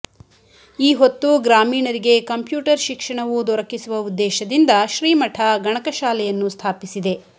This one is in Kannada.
ಈ ಹೊತ್ತು ಗ್ರಾಮೀಣರಿಗೆ ಕಂಪ್ಯೂಟರ್ ಶಿಕ್ಷಣವೂ ದೊರಕಿಸುವ ಉದ್ದೇಶದಿಂದ ಶ್ರೀಮಠ ಗಣಕಶಾಲೆಯನ್ನು ಸ್ಥಾಪಿಸಿದೆ